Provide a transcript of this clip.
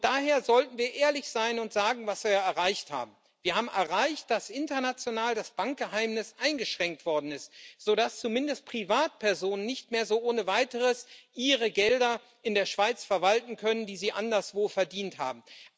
Daher sollten wir ehrlich sein und sagen, was wir erreicht haben Wir haben erreicht, dass international das Bankgeheimnis eingeschränkt worden ist, sodass zumindest Privatpersonen nicht mehr so ohne Weiteres ihre Gelder in der Schweiz verwalten können, die sie anderswo verdient haben.